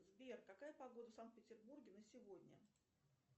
сбер какая погода в санкт петербурге на сегодня